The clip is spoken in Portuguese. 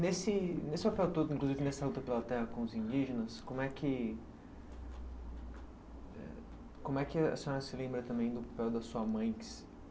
Nesse nesse papel todo, inclusive nessa luta pela terra com os indígenas, como é que como é que a senhora se lembra também do papel da sua mãe que